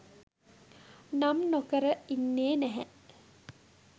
නම් නොකර ඉන්නේ නැහැ